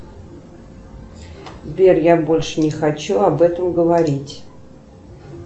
сбер я больше не хочу об этом говорить